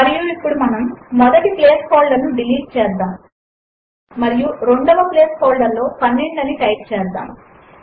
మరియు ఇప్పుడు మనము మొదటి ప్లేస్ హోల్డర్ ను డిలీట్ చేద్దాము మరియు రెండవ ప్లేస్ హోల్డర్ లో 12 అని టైప్ చేద్దాము